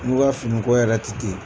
Olu ka finiko yɛrɛ tɛ ten